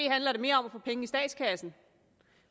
handler mere om at få penge i statskassen